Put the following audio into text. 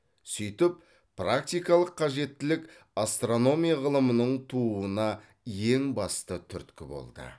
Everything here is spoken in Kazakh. сөйтіп практикалық қажеттілік астрономия ғылымының тууына ең басты түрткі болды